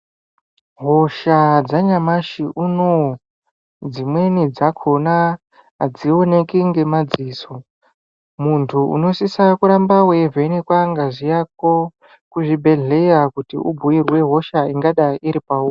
Hosha dzanyamashi unowu, dzimweni dzakhona adzioneki ngemadziso. Muntu unosisa kuramba weivhenekwa ngazi yako kuzvibhedhleya ,kuti ubhuirwe hosha ingadai iri pauri.